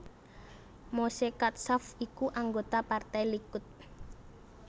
Moshe Katsav iku anggota Partai Likud